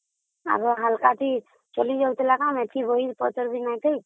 ଆଗ ହାଲକା ଚଳି ଯାଉଥିଲା ନା ଏତେ ବହିପତ୍ର ନଥିଲା